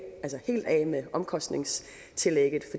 med omkostningstillægget